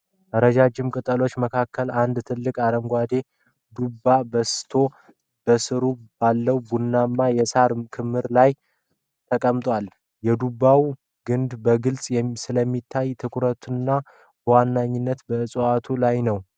ረጃጅም ቅጠሎች መካከል አንድ ትልቅ አረንጓዴ ዱባ በስቶ ከሥሩ ባለው ቡናማ የሳር ክምር ላይ ተቀምጧል። የዱባው ግንድ በግልጽ ስለሚታይ ትኩረቱ በዋናነት በእጽዋቱ ላይ ነው።